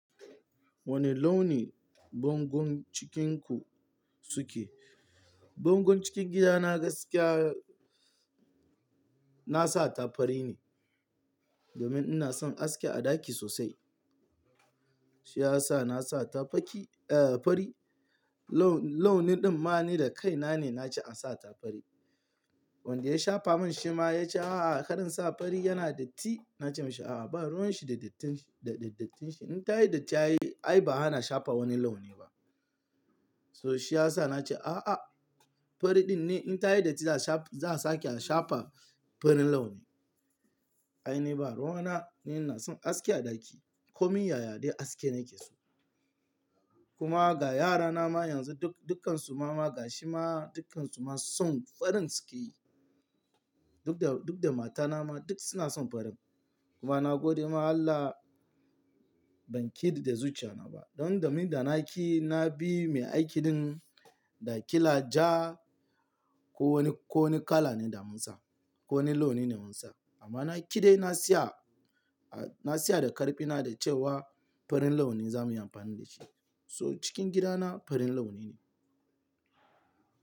Wane launi bangon cikinku suke? Bangon cikin gidana gaskiya na sa ta fari ne. Domin ina son haske a ɗaki sosai. Shi ya sa na sa ta faki-- eh fari. Laun-launi ɗin ma ni da kaina ne na ce an sa ta fari. Wanda ya shafa min shi ma ya ce, "A'a, karin sa fari yana datti." Na ce masa, "A'a, ba ruwan shi da dattin shi, da dattin shi. In ta yi datti ai ba ana shafa wani launi ba." So shi ya sa na ce, "A'a, fari ɗin ne in ta yi datti za a sha-za a sake a shafa farin launi." Ai ni ba ruwa na, ni ina son haske a ɗaki. Komi yayade aske nake so. Kuma ga yarana ma yanzu duk-dukansu mama ga shi ma dukkansu ma son farin suke yi. Duk da, duk da mata na ma duk suna son farin. Kuma na gode ma Allah ban kiɗe da zuciya na ba. Don da ni da na ƙi na bi mai aikin ɗin da ƙila ja ko wani ko wani kala ne da mun sa, ko wani launi ne da mun sa. Amma na ƙi dai na siya, na siya da ƙarfina da cewa farin launi za mu yi amfani da shi. So cikin gida na farin launi ne.